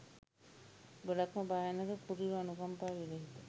ගොඩාක්ම භයානක කුරිරු අනුකම්පා විරහිත